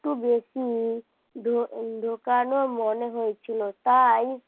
একটু বেশি ঢোকানো মনে হয়েছিল তাই